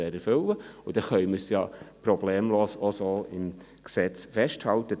Dann können wir dies auch problemlos entsprechend im Gesetz festhalten.